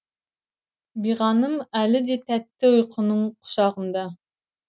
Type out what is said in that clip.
биғаным әлі де тәтті ұйқының құшағында